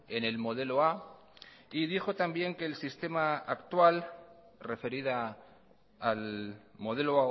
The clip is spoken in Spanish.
en el modelo a y dijo también que el sistema actual referida al modelo